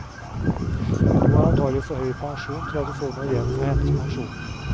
Du har antagelig for høy pensjon til at du får noe igjen for hennes pensjon.